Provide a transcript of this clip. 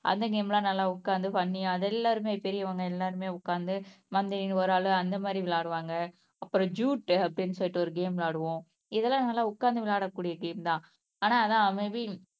அந்த கேம் எல்லாம் நல்லா உட்கார்ந்து பண்ணி அது எல்லாருமே பெரியவங்க எல்லாருமே உட்கார்ந்து வந்து இங்க ஒரு ஆளு அந்த மாதிரி விளையாடுவாங்க அப்புறம் ஜூட் அப்படின்னு சொல்லிட்டு ஒரு கேம் விளையாடுவோம் இதெல்லாம் நல்லா உட்கார்ந்து விளையாடக்கூடிய கேம் தான் ஆனா அதான் மே பீ